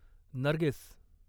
Nargis